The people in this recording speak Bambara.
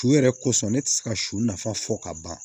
Su yɛrɛ kosɔn ne tɛ se ka su nafa fɔ ka ban